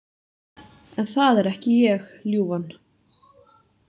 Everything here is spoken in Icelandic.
En það er ekki ég, ljúfan.